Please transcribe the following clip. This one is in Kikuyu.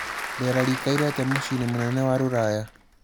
Rĩera rĩĩkaĩre atĩa mũcĩĩnĩ mũnene wa ruraya